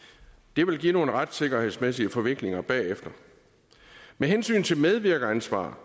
det vil give nogle retssikkerhedsmæssige forviklinger bagefter med hensyn til medvirkeransvar